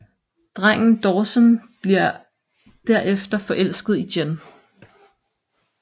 Drengen Dawson bliver derefter forelsket i Jen